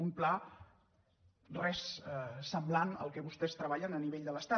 un pla en res semblant al que vostès treballen a nivell de l’estat